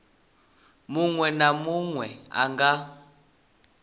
munwe na munwe a nga